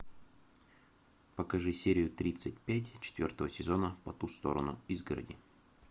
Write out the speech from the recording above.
покажи серию тридцать пять четвертого сезона по ту сторону изгороди